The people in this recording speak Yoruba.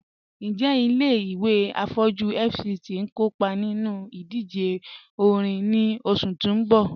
Njẹ̀ ilẹ̀-ìwé afọjú FCT n kọọpa nínú ìdíjè òrìṅ ni oṣù tì n bọ́?